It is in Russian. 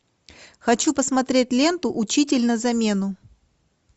хочу посмотреть ленту учитель на замену